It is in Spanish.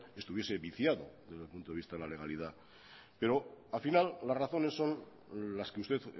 estuviese viciado desde el punto de vista de la legalidad pero al final las razones son las que usted